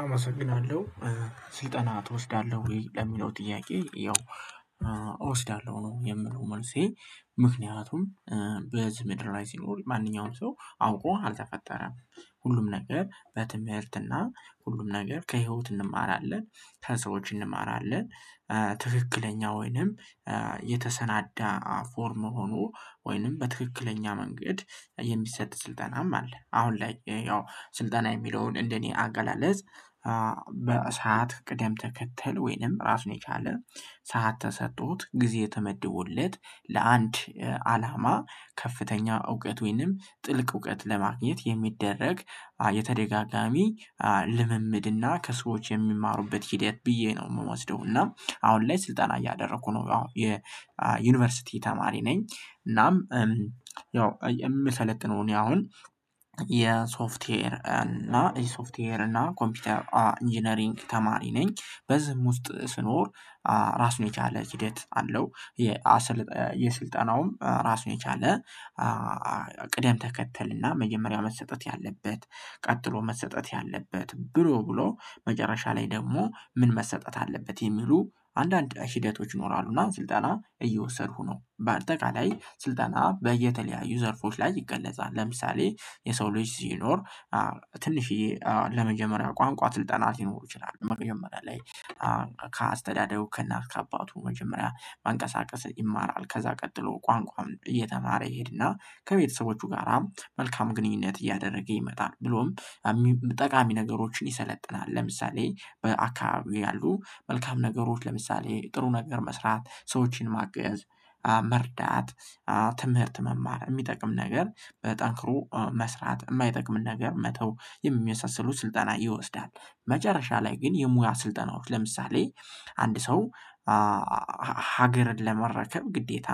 አመሰግናለሁ ስልጠና ትወስዳለሁ ወይ ለሚለው ጥያቄ ያው እወስዳለሁ ነው የምለው። መልሴ ምክንያቱም በዝህ ምድር ላይ ሲኖር ማንኛውም ሰው አውቆ አልተፈጠረም። ሁሉም ነገር በትምህርትና ሁሉም ነገር ከህይወት እንማራለን ከሰዎች እንማራለን። ትክክለኛ ወይንም የተሰናዳ ፎርም ሆኖ ወይንም በትክክለኛ መንገድ የሚሰጥ ስልጠናም አለ። አሁን ላይ ያው ስልጠና የሚለውን እንደኔ አገላለጽ። በሰአት ቅደም ተከተል ወይንም ራሱን የቻለ ሰዓት ተሰጥቶት ጊዜ ተመድቦለት ለአንድ አላማ ከፍተኛ እውቀት ወይንም ጥልቅ እውቀት ለማግኘት የሚደረግ የተደጋጋሚ ልምምድና ከሰዎች የሚማሩበት ሂደት ብዬ ነው የምወስደው። እና አሁን ላይ ስልጠና እያደረኩ ነው ያው የዩኒቨርሲቲ ተማሪ ነኝ። እናም ምሰለጥነው እኔ አሁን የሶፍትዌር እና ሶፍትዌር እና ኮምፒውተር ኢንጂነሪንግ ተማሪ ነኝ በዝህም ውስጥ ስኖር ራሱን የቻለ ሂደት አለው። የስልጠናውም ራሱን የቻለ ቅደም ተከተልና መጀመሪያ መሰጠት ያለበት ቀጥሎ መሰጠት ያለበት ብሎ ብሎ መጨረሻ ላይ ደግሞ ምን መሰጠት አለበት የሚሉ አንዳንድ ሂደቶች ይኖራሉና ስልጠና እየወሰድኩ ነው። በአጠቃላይ ስልጠና በየተለያዩ ዘርፎች ላይ ይገለጻል። ለምሳሌ የሰው ልጅ ሲኖር ትንሽዬ ለመጀመሪያ ቋንቋ ስልጠና ሊኖሩ ይችላሉ። መጀመሪያ ላይ ከአስተዳደሩ ከእናት ከአባቱ መጀመሪያ መንቀሳቀስ ይማራል ከዛ ቀጥሎ ቋንቋም እየተማረ ይሄድና ከቤተሰቦቹ ጋራ መልካም ግንኙነት እያደረገ ይመጣል። ብሎም ጠቃሚ ነገሮችን ይሰለጥናል ለምሳሌ በአካባቢው ያሉ መልካም ነገሮች ለምሳሌ ጥሩ ነገር መስራት ሰዎችን ማገዝ። መርዳት ትምህርት መማር የሚጠቅም ነገር በጠንክሮ መስራት የማይጠቅም ነገር መተው የሚመሳሰሉ ስልጠና ይወስዳል። መጨረሻ ላይ ግን የሙያ ስልጠናዎች ለምሳሌ አንድ ሰው ሀገርን ለመረከብ ግዴታ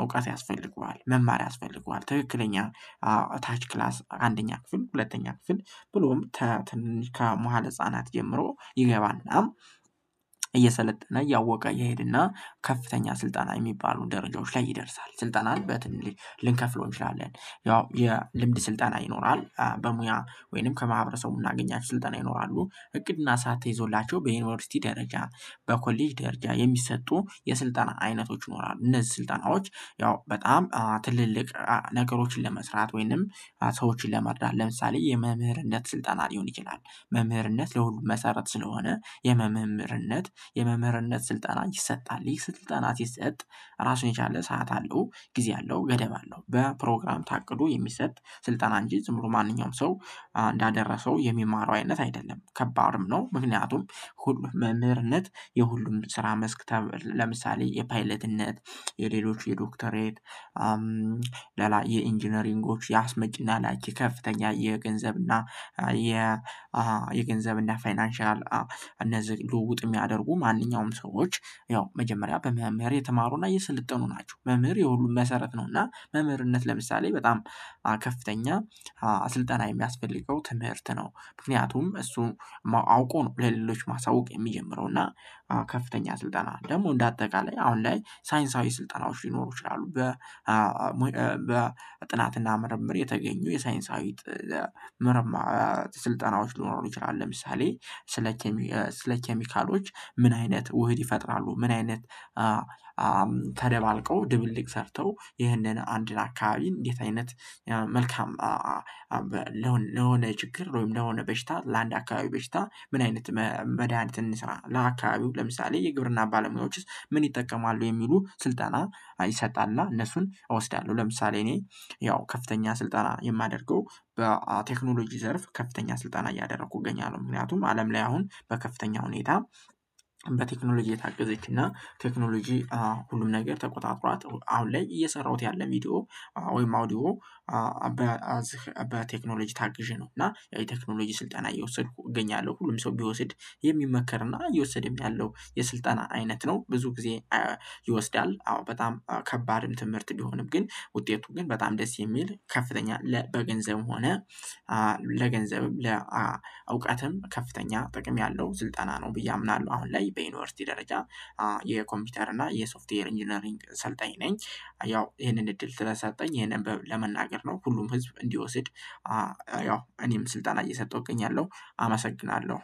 እውቀት ያስፈልገዋል። መማር ያስፈልገዋል ትክክለኛ ታች ክላስ አንደኛ ክፍል ሁለተኛ ክፍል ብሎም ትንንሽ ከመሃል ህፃናት ጀምሮ ይገባና እየሰለጠነ እያወቀ እየሄደና ከፍተኛ ስልጣን የሚባሉ ደረጃዎች ላይ ይደርሳል። ስልጣንን በትንሊሽ ልንከፍለው እንችላለን። ያው የልምድ ስልጠና ይኖራል በሙያ ወይንም ከማህበረሰቡ የምናገኛቸው ስልጠና ይኖራሉ እቅድና ሰዓት ተይዞላቸው በዩኒቨርሲቲ ደረጃ በኮሌጅ ደረጃ የሚሰጡ የስልጠና አይነቶች ይኖራሉ። እነዚህ ስልጠናዎች ያው በጣም ትልልቅ ነገሮችን ለመስራት ወይንም ሰዎችን ለመርዳት ለምሳሌ የመምህርነት ስልጠና ሊሆን ይችላል። መምህርነት ለሁሉም መሰረት ስለሆነ የመምህርነት የመምህርነት ስልጠና ይሰጣል ይህ ስልጠና ሲሰጥ ራሱን የቻለ ሰዓት አለው ጊዜ አለው ገደብ አለው በፕሮግራም ታቅዶ የሚሰጥ ስልጠና እንጂ ዝምሩ ማንኛውም ሰው እንዳደረሰው የሚማረው አይነት አይደለም። ከባድም ነው። ምክንያቱም ሁሉ መምህርነት የሁሉም ስራ መስክ ተብ ለምሳሌ የፓይለትነት የሌሎች የዶክተሬት ለላ የኢንጂነሪንጎች የአስመጪና ላይቺ ከፍተኛ የገንዘብና እና የ የገንዘብ እና ፋይናንሻል እነዚህ ልውውጥ የሚያደርጉ ማንኛውም ሰዎች ያው መጀመሪያ በመምህር የተማሩና የስልጠኑ ናቸው። መምህር የሁሉም መሰረት ነው። እና መምህርነት ለምሳሌ በጣም ከፍተኛ አስልጠና የሚያስፈልገው ትምህርት ነው። ምክንያቱም እሱን አውቆ ነው ለሌሎች ማሳወቅ ሚጀምረው። እና ከፍተኛ ስልጠና ደግሞ እንደ አጠቃላይ አሁን ላይ ሳይንሳዊ ስልጠናዎች ሊኖሩ ይችላሉ። በ በጥናትና ምርምር የተገኙ የሳይንሳዊት ምርም ስልጠናዎች ሊኖሩ ይችላሉ። ለምሳሌ ስለ ስለ ኬሚካሎች ምን አይነት ውህድ ይፈጥራሉ? ምን አይነት ተደባልቆ ድብልቅ ሰርተው ይህንን አንድን አካባቢ እንዴት አይነት? መልካም ለሆነ ችግር ወይም ለሆነ በሽታ ለአንድ አካባቢ በሽታ ምን አይነት መድሃኒት እንስራ? ለአካባቢው ለምሳሌ የግብርና ባለሙያዎችስ ምን ይጠቀማሉ የሚሉ ስልጠና ይሰጣልና እነሱን እወስዳለሁ። ለምሳሌ እኔ ያው ከፍተኛ ስልጠና የማደርገው በቴክኖሎጂ ዘርፍ ከፍተኛ ስልጣን እያደረኩ እገኛለሁ። ምክንያቱም አለም ላይ አሁን በከፍተኛ ሁኔታ። በቴክኖሎጂ የታገዘችና ቴክኖሎጂ ሁሉም ነገር ተቆጣጥሯት አሁን ላይ እየሰራሁት ያለም ቪዲዮ ወይም አዲዮ። በ ቴክኖሎጂ ታግዤ ነው እና የቴክኖሎጂ ስልጠና እየወሰድኩ እገኛለሁ። ሁሉም ሰው ቢወስድ የሚመከርና እየወሰደም ያለው የስልጠና አይነት ነው። ብዙ ጊዜ ይወስዳል። አዎ በጣም ከባድም ትምህርት እንዲሆንም ግን ውጤቱ ግን በጣም ደስ የሚል ከፍተኛ በገንዘብ ሆነ ለገንዘብም ለእውቀትም ከፍተኛ ጥቅም ያለው ስልጠና ነው። ብዬ አምናለሁ። አሁን ላይ በዩኒቨርሲቲ ደረጃ የኮምፒውተር እና የሶፍትዌር ኢንጂነሪንግ ሰልጣኝ ነኝ። ያው ይሄንን እድል ተሰጣኝ ይሄንን ለመናገር ነው። ሁሉም ህዝብ እንዲወስድ ያው እኔም ስልጣን እየሰጠሁኝ ያለው አመሰግናለሁ።